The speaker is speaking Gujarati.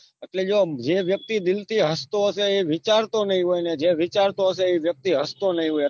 એટલે જો એમ જે વ્યક્તિ દિલ થી હસતો હશે વિચારતો નહી હોય અને જે વિચારતો હશે એ વ્યક્તિ હસતો નહી હોય